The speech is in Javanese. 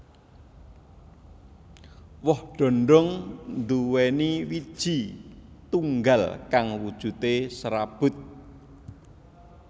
Woh dhondhong nduwèni wiiji tunggal kang wujudé serabut